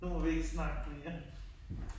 Nu må vi ikke snakke mere